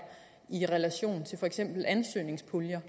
i relation til for eksempel ansøgningspuljer